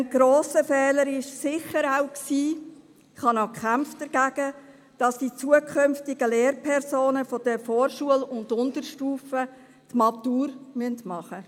Ein grosser Fehler war sicher auch – ich habe das damals bekämpft –, dass die zukünftigen Lehrpersonen der Vorschule und Unterstufe über die Matura verfügen müssen.